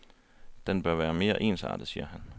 Den bør være mere ensartet, siger han.